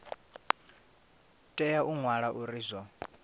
tea u wana uri zwo